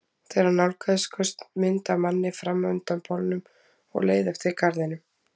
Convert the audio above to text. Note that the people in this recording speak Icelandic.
Þegar hann nálgaðist skaust mynd af manni fram undan bolnum og leið eftir garðinum.